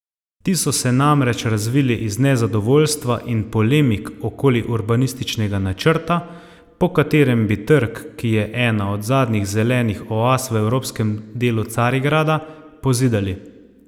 Ti so se namreč razvili iz nezadovoljstva in polemik okoli urbanističnega načrta, po katerem bi trg, ki je ena zadnjih zelenih oaz v evropskem delu Carigrada, pozidali.